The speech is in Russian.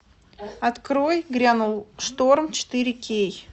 открой грянул шторм четыре кей